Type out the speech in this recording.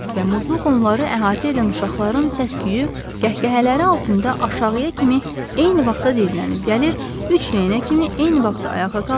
Krisk və Muzluq onları əhatə edən uşaqların səs-küyü, qəhqəhələri altında aşağıya kimi eyni vaxtda diyirlənib gəlir, üç rəyənə kimi eyni vaxtda ayağa qalxır.